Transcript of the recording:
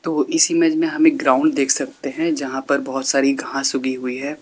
और इस इमेज में हम एक ग्राउंड देख सकते है जहां पर बहुत सारी घास उगी हुई हैं।